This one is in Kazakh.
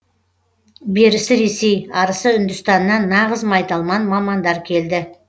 берісі ресей арысы үндістаннан нағыз майталман мамандар келді